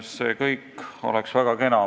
See kõik oleks väga kena.